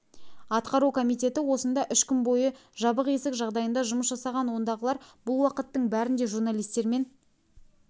атқару комитеті осында үш күн бойы жабық есік жағдайында жұмыс жасаған ондағылар бұл уақыттың бәрінде журналистермен